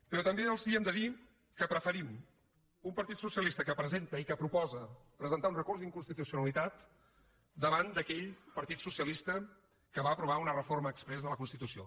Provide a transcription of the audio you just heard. però també els hem de dir que preferim un partit socialista que presenta i que proposa presentar un recurs d’inconstitucionalitat davant d’aquell partit socialista que va aprovar una reforma exprés de la constitució